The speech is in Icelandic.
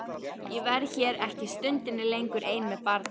Ég verð hér ekki stundinni lengur ein með barnið.